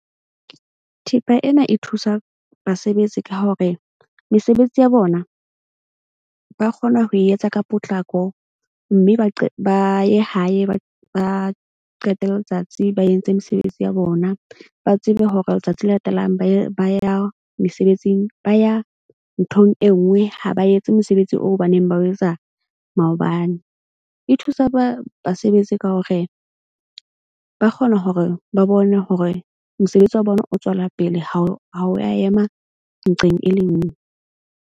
Thepa ena e thusa basebetsi ka hore mesebetsi ya bona ba kgona ho e etsa ka potlako. Mme ba ba ye hae ba qete letsatsi, ba etse mesebetsi ya bona, ba tsebe hore letsatsi le latelang ba ya mesebetsing. Ba ya nthong e nngwe ha ba etse mosebetsi oo ba neng ba o etsa maobane. E thusa basebetsi ka hore ba kgona hore ba bone hore mosebetsi wa bona o tswela pele ha o ya ema nqeng e le nngwe.